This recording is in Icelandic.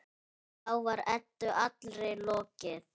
Þá var Eddu allri lokið.